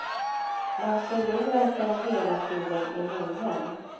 Man förlorar sig hela tiden i minnen.